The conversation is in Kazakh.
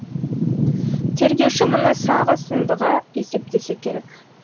тергеуші мұны сағы сындыға есептесе керек